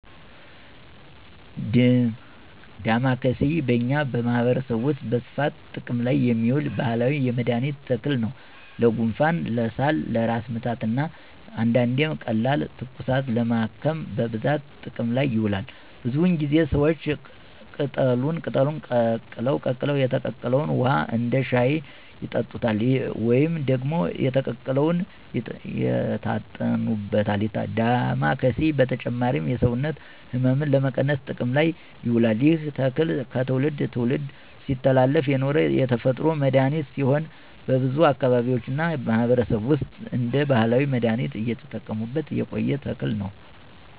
ደማከሴ በእኛ ማህበረሰብ ውስጥ በስፋት ጥቅም ላይ የሚውል ባህላዊ የመድኃኒት ተክል ነው። ለጉንፋን፣ ለሳል፣ ለራስ ምታት እና አንዳንዴም ቀላል ትኩሳትን ለማከም በብዛት ጥቅም ላይ ይውላል። ብዙውን ጊዜ ሰዎች ቅጠሉን ቀቅለው የተቀቀለውን ውሃ እንደ ሻይ ይጠጡታል ወይም ደግሞ የተቀቀለውን ይታጠኑበታል። ዳማኬሴ በተጨማሪም የሰውነት ሕመምን ለመቀነስ ጥቅም ላይ ይውላል። ይህ ተክል ከትውልድ ትውልድ ሲተላለፍ የኖረ የተፈጥሮ መድሀኒት ሲሆን በብዙ አካባቢዎች እና ማህበረሰብ ውስጥ እንደ ባህላዊ መድሃኒት እየተጠቀሙበት የቆየ ተክል ነው።